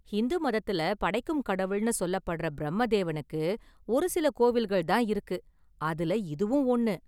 ஹிந்து மதத்துல படைக்கும் கடவுள்னு சொல்லப்படுற பிரம்ம தேவனுக்கு ஒரு சில கோவில்கள் தான் இருக்கு, அதுல இதுவும் ஒன்னு.